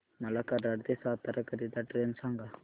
मला कराड ते सातारा करीता ट्रेन सांगा